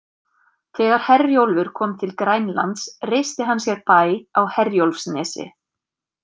Þegar Herjólfur kom til Grænlands reisti hann sér bæ á Herjólfsnesi.